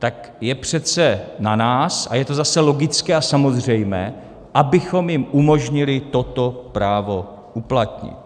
Tak je přece na nás, a je to zase logické a samozřejmé, abychom jim umožnili toto právo uplatnit.